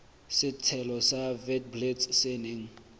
setshelo sa witblits se neng